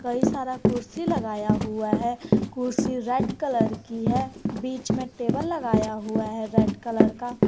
कई सारा कुर्सी लगाया हुआ है कुर्सी रेड कलर की है बीच में टेबल लगाया हुआ है रेड कलर का।